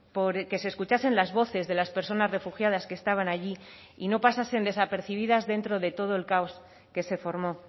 por que se escuchasen las voces de las personas refugiadas que estaban allí y no pasasen desapercibidas dentro de todo el caos que se formó